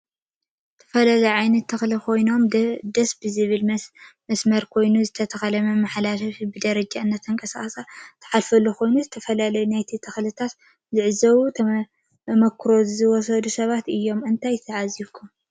ዝተፈለዮ ዓይነታት ተከሉ ኮይኖም ደሰ ብዝብል ብመሰመር ኮይኑዝተተከለ መመሓላለፍ ብደረጃ እናተንቀሳቀስካ ትሐልፈሉኮይኑ ዝ ተፈላለዮ ነቲ ተክልታት ዝዕዘቡ ተመክሮ ዝወሰድ ሰባት እዮም ።እንታይ ተዓዝቡኩም? ተ